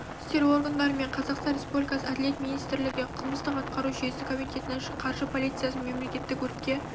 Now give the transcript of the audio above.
істер органдары мен қазақстан республикасы әділет министрлігі қылмыстық-атқару жүйесі комитетінің қаржы полициясы мен мемлекеттік өртке